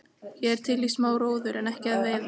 Ég er til í smá róður en ekki að veiða.